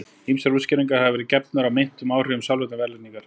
Ýmsar útskýringar hafa verið gefnar á meintum áhrifum sálrænnar verðlagningar.